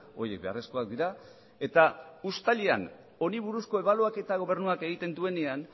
horiek beharrezkoak dira eta uztailean honi buruzko ebaluaketa gobernuak egiten duenean